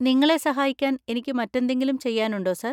നിങ്ങളെ സഹായിക്കാൻ എനിക്ക് മറ്റെന്തെങ്കിലും ചെയ്യാനുണ്ടോ, സർ?